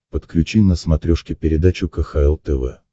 подключи на смотрешке передачу кхл тв